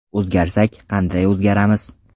O‘zgarsak, qanday o‘zgaramiz?